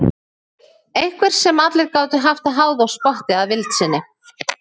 Einhver sem allir gátu haft að háði og spotti að vild sinni.